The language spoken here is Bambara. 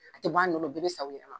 I tɛ bɔ a nɔ na u bɛɛ bɛ sa u yɛrɛma